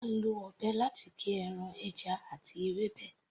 À ń lọ ọ̀bẹ láti gé ẹran, ẹja àti ewébẹ̀.